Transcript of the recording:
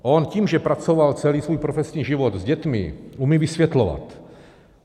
On tím, že pracoval celý svůj profesní život s dětmi, umí vysvětlovat.